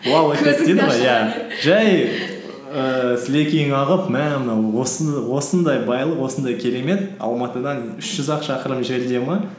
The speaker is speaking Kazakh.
жай ііі сілекейің ағып мә мына осындай байлық осындай керемет алматыдан үш жүз ақ шақырым жерде ме